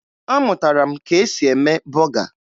Amụtara m ka e si eme bọga